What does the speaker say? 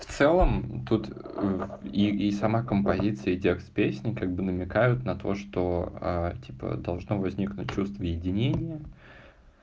в целом тут и сама композиции текст песни как бы намекают на то что типа должно возникнуть чувство единения